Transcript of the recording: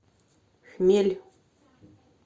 хмель